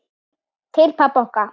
Til pabba okkar.